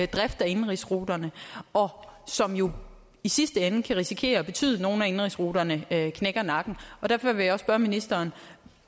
driften af indenrigsruterne og som jo i sidste ende kan risikere at betyde at nogle af indenrigsruterne knækker nakken og derfor vil jeg spørge ministeren